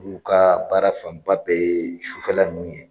Olu ka baara fanba bɛɛ ye sufɛla ninnu ye.